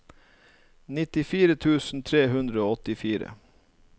nittifire tusen tre hundre og åttifire